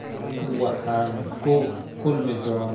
waxaan ku kulmi doonaa dabaaldega maanta